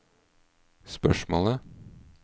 spørsmålet